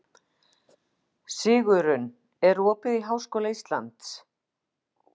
Sigurunn, er opið í Háskóla Íslands?